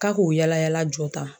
K'a k'o yaala yaala jɔ tan